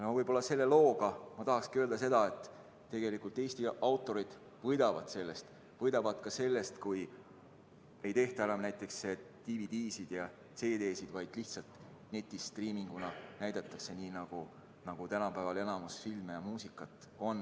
Tahan selle looga öelda seda, et tegelikult Eesti autorid võidavad sellest eelnõust, võidavad ka sellest, kui ei tehta enam näiteks DVD‑sid ja CD‑sid, vaid lihtsalt netist striiminguna näidatakse nende loomingut, nii nagu tänapäeval enamikku filme ja muusikat tarbitakse.